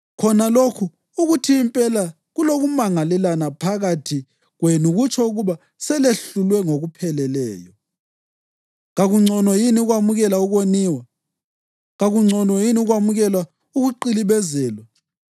Khona lokhu ukuthi impela kulokumangalelana phakathi kwenu kutsho ukuba selehlulwe ngokupheleleyo. Kakungcono yini ukwamukela ukoniwa? Kakungcono yini ukwamukela ukuqilibezelwa?